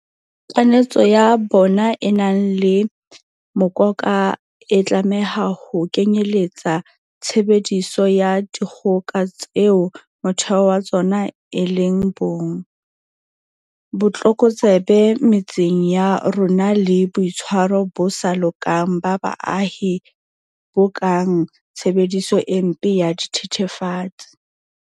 Kanetso ya bona e nang le mokoka e tlameha ho kenyeletsa tshebediso ya dikgoka tseo motheo wa tsona e leng bong, botlokotsebe metseng ya rona le boitshwaro bo sa lokang ba baahi bo kang tshebediso e mpe ya dithe thefatsi.